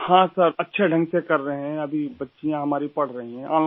جی ہاں جناب ، اچھے ڈھنگ سے کر رہے ہیں ، ابھی لڑکیاں ہماری پڑھ رہی ہیں